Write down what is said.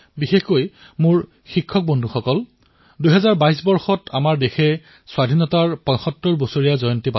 বন্ধুসকল বিশেষকৈ মোৰ শিক্ষক বন্ধুসকল ২০২২ বৰ্ষত আমাৰ দেশে স্বতন্ত্ৰতাৰ ৭৫তম বৰ্ষ পালন কৰিব